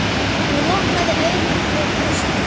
Hún opnaði augun og brosti.